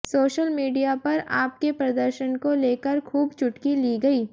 social media पर आप के प्रदर्शन को लेकर खूब चुटकी ली गई